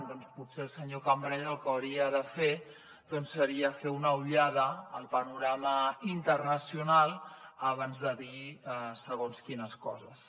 doncs potser el senyor cambray el que hauria de fer seria fer una ullada al panorama internacional abans de dir segons quines coses